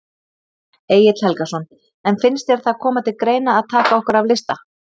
Egill Helgason: En finnst þér það koma til grein að taka okkur af lista?